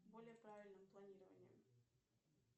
более правильным планированием